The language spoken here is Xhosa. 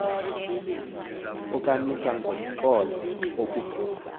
ukamisa ngomxholo ukubeka